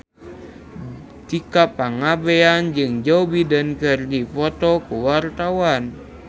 Tika Pangabean jeung Joe Biden keur dipoto ku wartawan